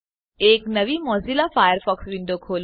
એક નવી Mozilla Firefox window ખોલો